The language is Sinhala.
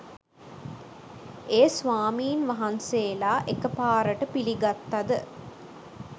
ඒ ස්වාමීන් වහන්සේලා එකපාරට පිළිගත්තද?